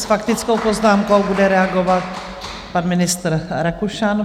S faktickou poznámkou bude reagovat pan ministr Rakušan.